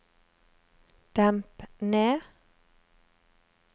demp ned